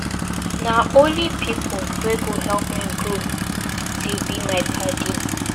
Na only pipu wey go help me grow dey be my paddy.